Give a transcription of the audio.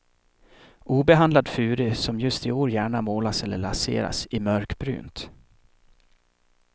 Obehandlad furu, som just i år gärna målas eller laseras i mörkbrunt.